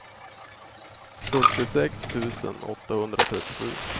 sjuttiosex tusen åttahundratrettiosju